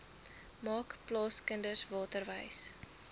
maak plaaskinders waterwys